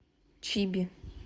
чиби